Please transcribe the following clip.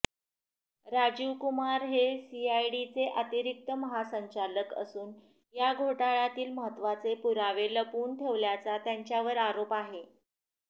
राजीवकुमार हे सीआयडीचे अतिरिक्त महासंचालक असून या घोटाळ्यातील महत्त्वाचे पुरावे लपवून ठेवल्याचा त्यांच्यावर आरोप आहे